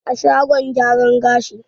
A shagon gyaran gashi.